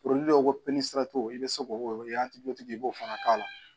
dɔw ko ko i bɛ se k'o i b'o fana k'a la